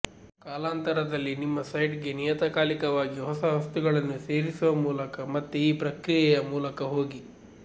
ಕಾಲಾಂತರದಲ್ಲಿ ನಿಮ್ಮ ಸೈಟ್ಗೆ ನಿಯತಕಾಲಿಕವಾಗಿ ಹೊಸ ವಸ್ತುಗಳನ್ನು ಸೇರಿಸುವ ಮೂಲಕ ಮತ್ತೆ ಈ ಪ್ರಕ್ರಿಯೆಯ ಮೂಲಕ ಹೋಗಿ